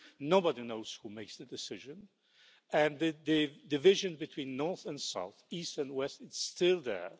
Nobody knows who makes the decisions, and the division between north and south, east and west are still there.